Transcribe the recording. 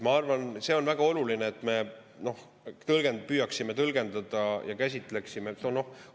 Ma arvan, see on väga oluline, et me püüaksime tõlgendada ja käsitleksime.